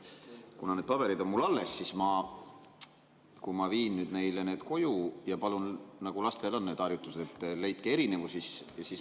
Kuna need paberid on mul alles, siis kui ma viin neile need koju ja palun – lastel on sellised harjutused –, et leidke erinevusi.